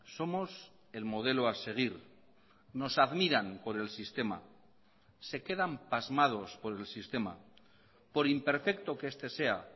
somos el modelo a seguir nos admiran por el sistema se quedan pasmados por el sistema por imperfecto que este sea